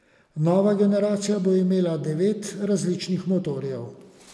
Nova generacija bo imela devet različnih motorjev.